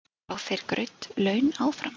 Fá þeir greidd laun áfram?